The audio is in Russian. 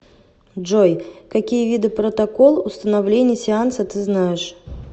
джой какие виды протокол установления сеанса ты знаешь